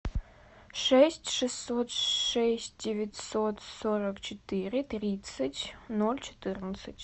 шесть шестьсот шесть девятьсот сорок четыре тридцать ноль четырнадцать